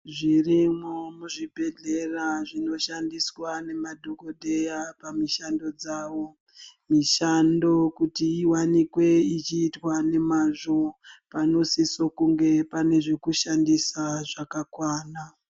Zvirimo muzvibhedhleya zvinoshandiswa nemadhokoteya pamushando dzavo mishando wokuti inowanikwe ichiitwa nemazvo vanosise kunge pane zvekushandisa zvakakwana.